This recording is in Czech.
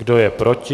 Kdo je proti?